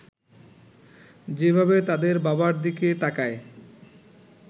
যেভাবে তাদের বাবার দিকে তাকায়